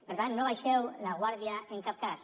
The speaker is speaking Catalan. per tant no baixeu la guàrdia en cap cas